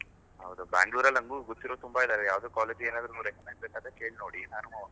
ಹೌದು, Bangalore ಅಲ್ಲಿ ನಂಗೂ ಗೊತ್ತಿರೋರು ತುಂಬಾ ಇದ್ದಾರೆ, ಯಾವ್ದು college ಗೆ ಏನಾದ್ರೂ recommend ಬೇಕಾದ್ರೆ ಕೇಲ್ನೋಡಿ ನಾನೂ.